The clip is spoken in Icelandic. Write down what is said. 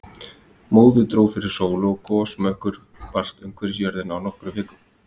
Móðu dró fyrir sólu og gosmökkur barst umhverfis jörðina á nokkrum vikum.